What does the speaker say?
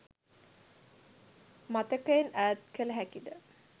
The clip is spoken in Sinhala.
මතකයෙන් ඈත් කළ හැකිද?